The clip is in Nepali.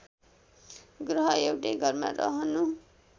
ग्रह एउटै घरमा रहनु